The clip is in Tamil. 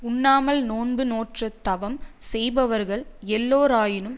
உண்ணாமல் நோன்பு நோற்றுத் தவம் செய்பவர்கள் எல்லோரினும்